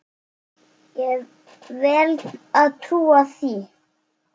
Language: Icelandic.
Ég vel að trúa því.